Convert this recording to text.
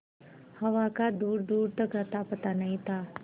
हवा का दूरदूर तक अतापता नहीं था